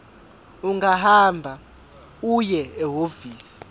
ungahamba uye ehhovisi